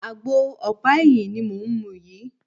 Àgbo ọ̀pá ẹyin ni mò ń mu yìí.